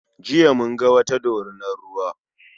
Jiya mun ga wata dorinar ruwa.